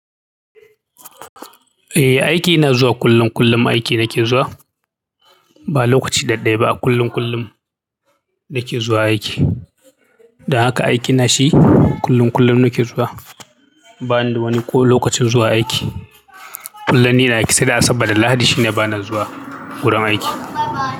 Eh aiki ina zuwa kullum kullum aiki nake zuwa ba lokaci daɗaiba, kullum kullum nake zuwa aiki. Don haka aiki na shi kullum kullum nake zuwa. Banida wani koh lokachin zuwa aiki. Kullum nine aiki sai da Asabar da Lahadi shine ba na zuwa wurin aiki.